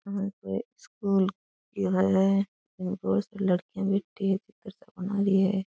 ये कोई स्कूल की है इमें बहुत सी लड़कियां बैठी है चित्र सा बना रही है।